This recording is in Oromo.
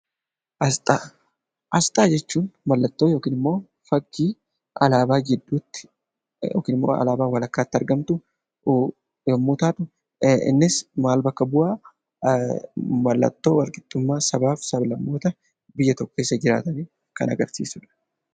Asxaa Asxaa jechuun mallattoo yookiin immoo fakkii alaabaa jidduutti yookiin immoo alaabaa walakkaatti argamtu yommuu taatu, innis maal bakka bu'aa mallattoo walqixxummaa sabaaf sablammoota biyya tokko keessa jiraatanii kan agarsiisu dha.